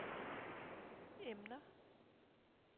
emner